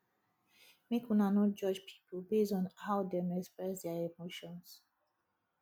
make una no judge pipo based on how dem dey express their emotions